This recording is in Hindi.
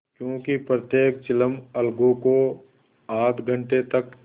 क्योंकि प्रत्येक चिलम अलगू को आध घंटे तक